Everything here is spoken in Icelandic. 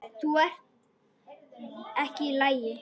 Þú ert ekki í lagi.